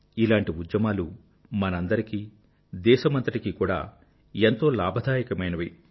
ఇలాంటి ఉద్యమాలు మనందరికీ దేశమంతటికీ కూడా ఎంతో లాభదాయకమైనవి